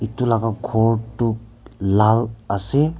etu laga ghor tu lal ase.